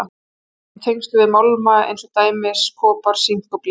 Það er oft í tengslum við málma eins og til dæmis kopar, sink og blý.